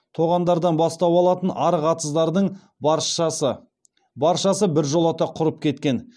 тоғандардан бастау алатын арық атыздардың баршасы біржолата құрып кеткен